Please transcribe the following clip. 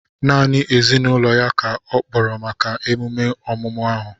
Naanị ezinụlọ ya ka ọ kpọrọ maka emume ọmụmụ ahu